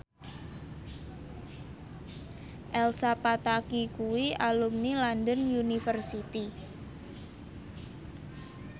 Elsa Pataky kuwi alumni London University